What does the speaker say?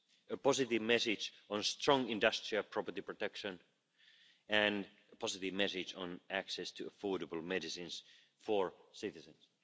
a positive message on strong industrial property protection and a positive message on access to affordable medicines for citizens.